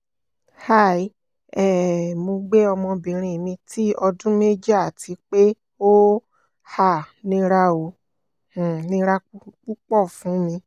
hi um mo gbe ọmọbinrin mi ti ọdun meji ati pe o um nira o um nira pupọ fun mi